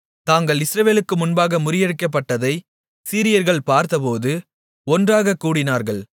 தாங்கள் இஸ்ரவேலுக்கு முன்பாக முறியடிக்கப்பட்டதை சீரியர்கள் பார்த்தபோது ஒன்றாகக் கூடினார்கள்